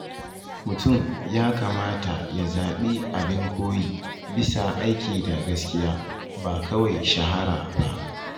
Mutum ya kamata ya zaɓi abin koyi bisa aiki da gaskiya, ba kawai shahara ba.